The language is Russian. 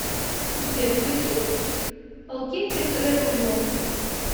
сбер включи алкеттик трэвэл влог